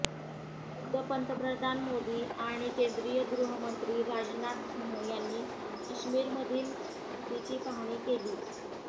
खुद्द पंतप्रधान मोदी आणि केंद्रीय गृहमंत्री राजनाथ सिंह यांनी काश्मीरमधील स्थितीची पाहणी केली